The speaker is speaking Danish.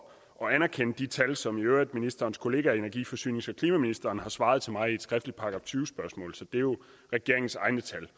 anerkende de tal som ministerens kollega energi forsynings og klimaministeren har svar til mig i et skriftligt § tyve spørgsmål så det er jo regeringens egne tal